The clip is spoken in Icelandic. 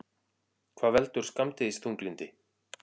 Hvað veldur skammdegisþunglyndi?